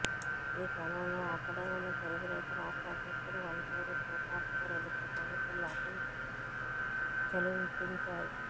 ఈ క్రమంలో అక్కడే ఉన్న తెలుగు రైతు రాష్ట్ర అధ్యక్షుడు వంటేరు ప్రతాప్ రెడ్డిపై పోలీసులు లాఠీ ఝళిపించారు